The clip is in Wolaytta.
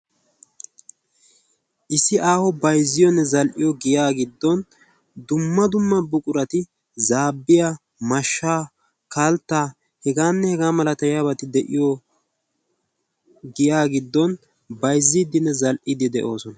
Issi aaho baizziyoonne zal"iyo giya giddon dumma dumma buqurati zaabbiya mashsha kaltta hegaanne hegaa malata yaabati de"iyo giyaa giddon baizziiddinne zal"idi de'oosona.